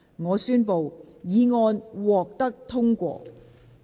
我宣布議案獲得通過。